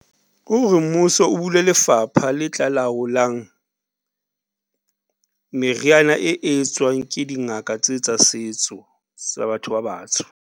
Kore mmuso o bule lefapha le tla laolang meriana e etswang ke dingaka tse tsa setso, tsa batho ba batsho.